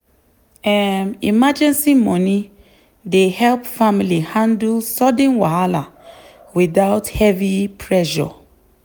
um emergency money dey help family handle sudden wahala without heavy pressure.